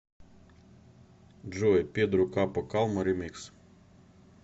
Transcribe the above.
джой педро капо калма ремикс